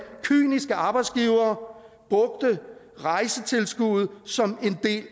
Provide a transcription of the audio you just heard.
kyniske arbejdsgivere brugte rejsetilskuddet som en del